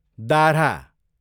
दाह्रा